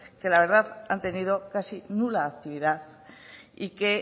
que la verdad han tenido casi nula actividad y que